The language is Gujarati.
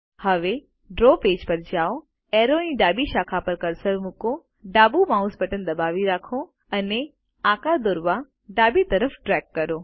હવે ડ્રો પેજ પર જાઓ એરોની ડાબી શાખા પર કર્સર મુકો ડાબુ માઉસ બટન દબાવી રાખો અને આકાર દોરવા ડાબી તરફ ડ્રેગ કરો